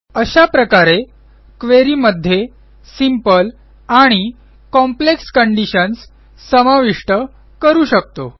अशा प्रकारे क्वेरी मध्ये सिंपल आणि कॉम्प्लेक्स कंडिशन्स समाविष्ट करू शकतो